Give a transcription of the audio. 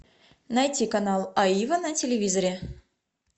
найти канал аива на телевизоре